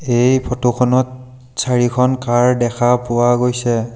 এই ফটো খনত চাৰিখন কাৰ দেখা পোৱা গৈছে।